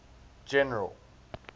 general